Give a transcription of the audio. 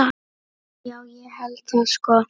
Já, ég held það sko.